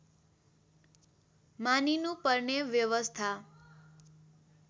मानिनुपर्ने व्यवस्था